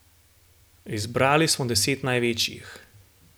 Izbrali smo deset največjih.